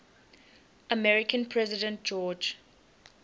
american president george